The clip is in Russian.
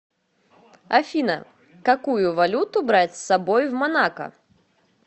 афина какую валюту брать с собой в монако